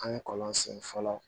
An ye kɔlɔn sen fɔlɔ